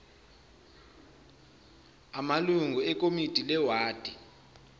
amalungu ekomiti lewadi